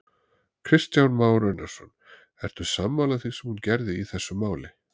Kristján Már Unnarsson: Ertu sammála því sem hún gerði í þessu máli?